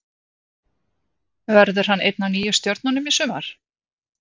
Verður hann ein af nýju stjörnunum í sumar?